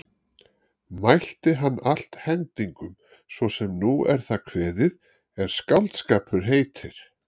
Mælti hann allt hendingum svo sem nú er það kveðið er skáldskapur heitir.